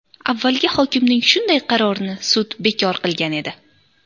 Avvalgi hokimning shunday qarorini sud bekor qilgan edi.